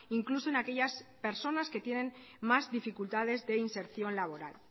incluso en aquellas personas que tienen más dificultades de inserción laboral